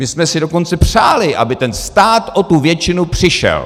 My jsme si dokonce přáli, aby ten stát o tu většinu přišel.